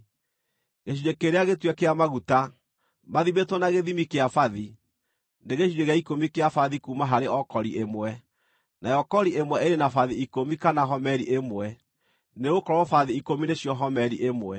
Gĩcunjĩ kĩrĩa gĩtue kĩa maguta, mathimĩtwo na gĩthimi kĩa bathi, nĩ gĩcunjĩ gĩa ikũmi kĩa bathi kuuma harĩ o kori ĩmwe (nayo kori ĩmwe ĩrĩ na bathi ikũmi kana homeri ĩmwe , nĩgũkorwo bathi ikũmi nĩcio homeri ĩmwe).